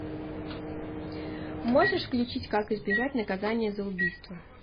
можешь включить как избежать наказания за убийство